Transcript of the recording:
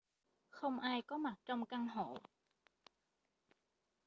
không ai có mặt trong căn hộ